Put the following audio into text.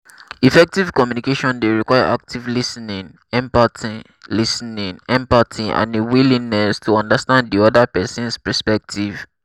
effective communication dey require active lis ten ing empathy lis ten ing empathy and a willingness to understand di oda person's perspective.